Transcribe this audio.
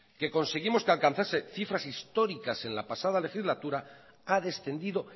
que conseguimos que alcanzase cifras históricas en la pasada legislatura ha descendido